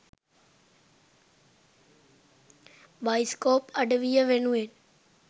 bioscope අඩවිය වෙනුවෙන්